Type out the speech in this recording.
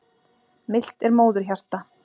Milt er móðurhjarta.